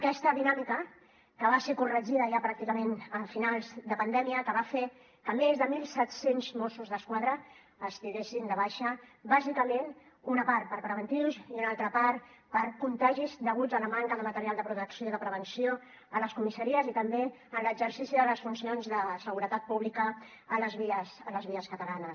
aquesta dinàmica que va ser corregida ja pràcticament a finals de pandèmia va fer que més de mil set cents mossos d’esquadra estiguessin de baixa bàsicament una part per preventius i una altra part per contagis deguts a la manca de material de protecció i de prevenció a les comissaries i també en l’exercici de les funcions de seguretat pública a les vies catalanes